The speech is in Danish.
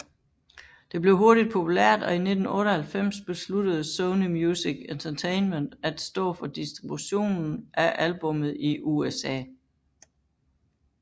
Det blev hurtigt populært og i 1998 besluttede Sony Music Entertainment at stå for ditributionen af albummet i USA